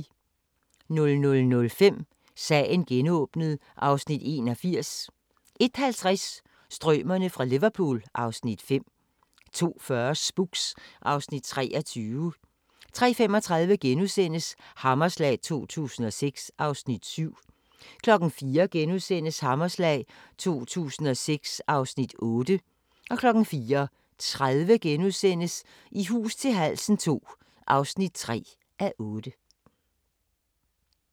00:05: Sagen genåbnet (Afs. 81) 01:50: Strømerne fra Liverpool (Afs. 5) 02:40: Spooks (Afs. 23) 03:35: Hammerslag 2006 (Afs. 7)* 04:00: Hammerslag 2006 (Afs. 8)* 04:30: I hus til halsen II (3:8)*